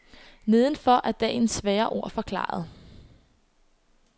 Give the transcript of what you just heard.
Nedenfor er dagens svære ord forklaret.